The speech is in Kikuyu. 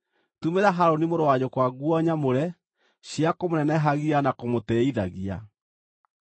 Tumĩra Harũni mũrũ wa nyũkwa nguo nyamũre, cia kũmũnenehagia na kũmũtĩĩithagia.